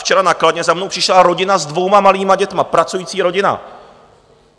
Včera na Kladně za mnou přišla rodina s dvěma malými dětmi, pracující rodina.